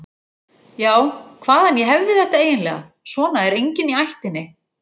Já, hvaðan ég hefði þetta eiginlega, svona er enginn í ættinni.